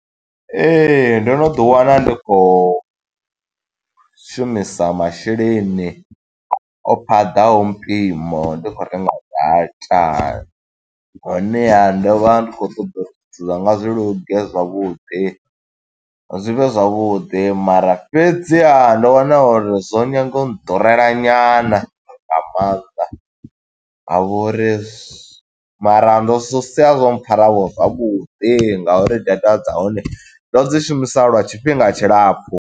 Ee, ndo no ḓi wana ndi khou shumisa masheleni, o paḓaho mpimo ndi khou renga data. Honeha ndo vha ndi khou ṱoḓa uri zwithu zwanga zwi luge zwavhuḓi, zwi vhe zwavhuḓi. Mara fhedziha ndo wana uri zwo nyaga u ḓurela nyana nga maanḓa, ha vho uri, mara ndo sia zwo pfara vho zwavhuḓi nga uri data dza hone, ndo dzi shumisa lwa tshifhinga tshilapfu.